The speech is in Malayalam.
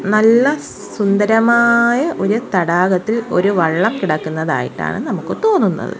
നല്ല സുന്ദരമായ ഒരു തടാകത്തിൽ ഒരു വള്ളം കിടക്കുന്നതായിട്ടാണ് നമുക്ക് തോന്നുന്നത്.